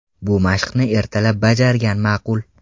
Bu mashqni ertalab bajargan ma’qul.